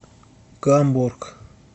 гамбург